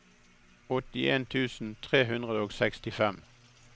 åttien tusen tre hundre og sekstifem